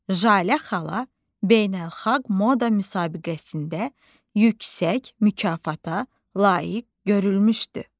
Jalə xala beynəlxalq moda müsabiqəsində yüksək mükafata layiq görülmüşdü.